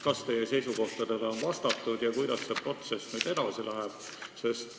Kas teie seisukohtadele on reageeritud ja kuidas see protsess nüüd edasi läheb?